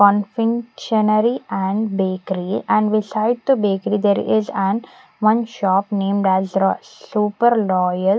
Conventionery and bakery and beside the bakery there is an one shop named as ro super loyal .